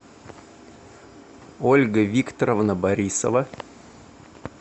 ольга викторовна борисова